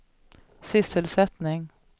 sysselsättning